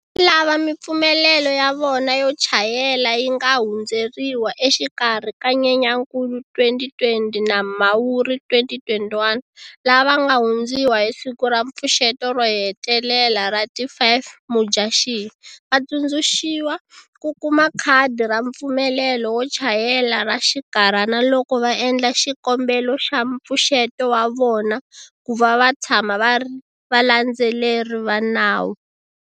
Lava mipfumelelo ya vona yo chayela yi nga hundzeriwa exikarhi ka Nyenyankulu 2020 na Mhawuri 2021, lava nga hundziwa hi siku ra mpfuxeto ro hetelela ra ti 5 Mudyaxihi, va tsundzuxiwa ku kuma khadi ra mpfumelelo wo chayela ra xikarhana loko va endla xikombelo xa mpfuxeto wa vona ku va va tshama va ri valandzeleri va nawu.